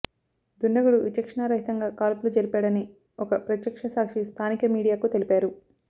దుండగుడు విచక్షణరహితంగా కాల్పులు జరిపాడని ఒక ప్రత్యక్ష సాక్షి స్థానిక మీడియాకు తెలిపారు